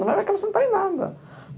Não vai me acrescentar em nada.